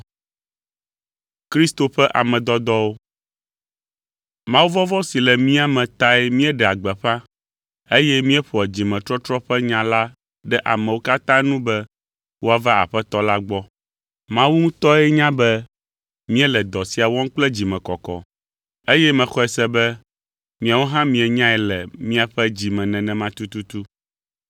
Mawuvɔvɔ̃ si le mía me tae míeɖea gbeƒã, eye míeƒoa dzimetɔtrɔ ƒe nya la ɖe amewo katã nu be woava Aƒetɔ la gbɔ. Mawu ŋutɔ nya be míele dɔ sia wɔm kple dzimekɔkɔ, eye mexɔe se be miawo hã mienyae le miaƒe dzi me nenema tututu.